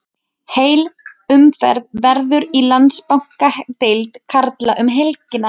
Heil umferð verður í Landsbankadeild karla um helgina.